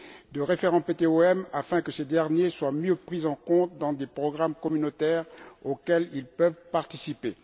du référent PTOM permettant que ce dernier soit mieux pris en compte dans des programmes communautaires auxquels ils peuvent participer.